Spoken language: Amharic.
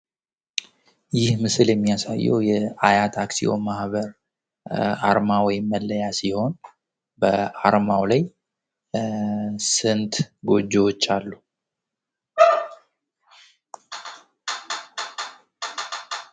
ይህ ምስል የሚያሳየው የሀያት አክስዮን ማህበር አርማ ወይም መለያ ሲሆን በአርማው ላይ ስንት ጎጆዎች አሉ?